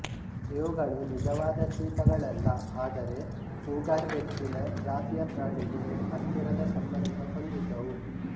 ಇವುಗಳು ನಿಜವಾದ ಚೀತಾಗಳಲ್ಲ ಆದರೆ ಕೂಗರ್ಬೆಕ್ಕಿನ ಜಾತಿಯ ಪ್ರಾಣಿಗೆ ಹತ್ತಿರದ ಸಂಬಂಧ ಹೊಂದಿದ್ದವು